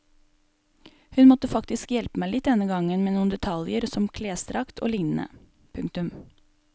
Hun måtte faktisk hjelpe meg litt denne gangen med noen detaljer som klesdrakt og lignende. punktum